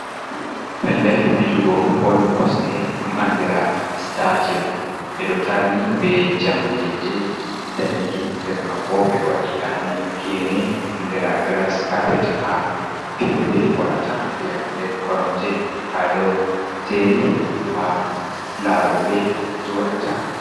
Pellel fijugo bol kosɗe dum andira stadiyon. Ɓeɗo tarni be jamɗeje danejum. Nder manbo ɓeɗo waɗi gene andira gras kapet, ha fiyoɓe warata fiya. Nden koromje ɗo jeri ha laroɓe joɗata.